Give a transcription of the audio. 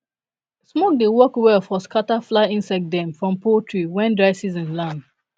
smoke dey work well for scatter fly insect dem from poultry pen when dry season land